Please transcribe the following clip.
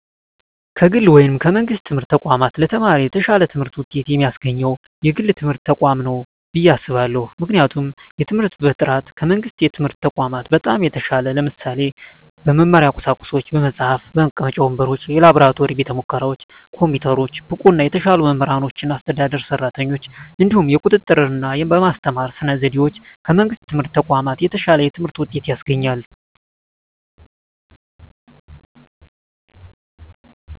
ከግል ወይም ከመንግሥት የትምህርት ተቋማት ለተማሪ የተሻለ ትምህርት ውጤት የሚያስገኘው የግል ትምህርት ተቋማት ነው ብየ አስባለሁ ምክንያቱም የትምህርት በጥራቱ ከመንግስት የትምህርት ተቋማት በጣም የተሻለ ነው ለምሳሌ - በመማሪያ ቁሳቁሶች በመፅሀፍ፣ መቀመጫ ወንበሮች፣ የላብራቶሪ ቤተሙከራዎች፣ ኮምፒውተሮች፣ ብቁና የተሻሉ መምህራኖችና አስተዳደር ሰራተኞች፣ እንዲሁም የቁጥጥ ርና በማስተማር ስነ ዘዴዎች ከመንግስት የትምህርት ተቋማት የተሻለ የትምህርት ውጤት ያስገኛል።